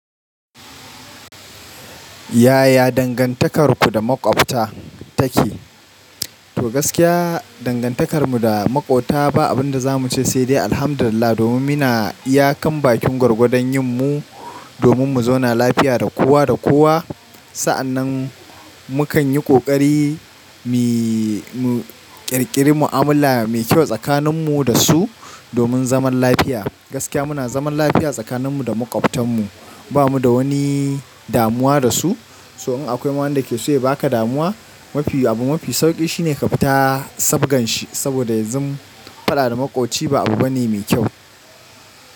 Yaya dangantakarku da maƙwabta take? To gaskiya dangantakar muda maƙwabta ba abin daza muce sai dai alhamdulillah. Domin muna iya kan bakin gwargwadon yin mu, domin mu zauna lafiya da kowaa da kowaa. Sa'annan mu kan yi ƙoƙari mu ƙirƙiri mu'amala mai kyau tsakanin mu da su domin zaman lafiya. Gaskiya muna zaman lafiya tsakanin mu da makwabtan mu. Ba mu da wani damuwa da su. So in akwai ma wanda ke so ya baka damuwa, mafi abu mafi sauƙin shine ka fita sabgan shi. Saboda yanzun faɗa da maƙwabci ba abu bane mai kyau.